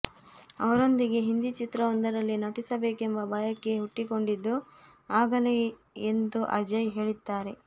ಅವರೊಂದಿಗೆ ಹಿಂದಿ ಚಿತ್ರವೊಂದರಲ್ಲಿ ನಟಿಸಬೇಕೆಂಬ ಬಯಕೆ ಹುಟ್ಟಿಕೊಂಡಿದ್ದು ಆಗಲೇ ಎಂದು ಅಜಯ್ ಹೇಳಿದ್ದಾರೆ